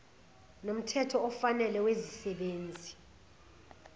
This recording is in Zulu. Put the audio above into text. nomthetho ofanele wezisebenzi